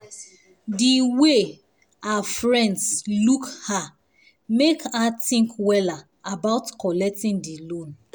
the way her friends look her make her think wella about collecting the loan